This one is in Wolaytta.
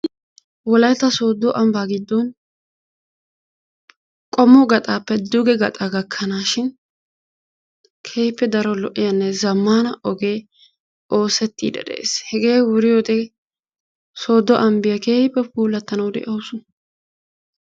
Wolaytta sooddo ambbaa giddon qommo gaxaappe duge gaxaa gakkanaashin keehippe daro lo"iyanne zammana ogee oosettidi dees hegee wuriyode sooddo ambbiya keehippe puulattanawu de'awusu.